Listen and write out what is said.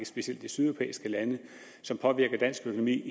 specielt de sydeuropæiske lande som påvirker dansk økonomi